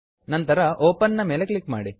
ನಂತರ open open ನ ಮೇಲೆ ಕ್ಲಿಕ್ ಮಾಡಿ